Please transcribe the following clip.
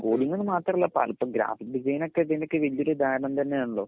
കോഡിങ്ങ്ന് മാത്രമല്ല പലതും graphic design ഒക്കെ ഇതിന് ഒരു ഉദാഹരണം തന്നെയാണാലോ